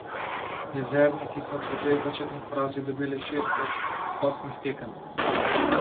Jezerniki so po dveh začetnih porazih dobili šest od osmih tekem.